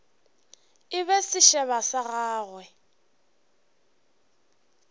e be sešeba sa gagwe